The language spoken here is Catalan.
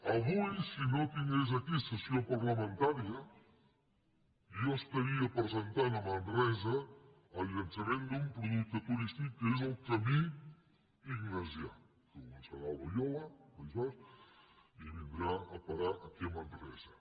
avui si no tingués aquí sessió parlamentària jo presentaria a manresa el llançament d’un producte turístic que és el camí ignasià que començarà a loiola al país basc i vindrà a parar aquí a manresa